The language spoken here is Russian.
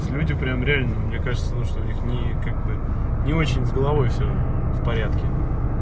люди прям реально мне кажется ну что у них ни как бы не очень с головой всё в порядке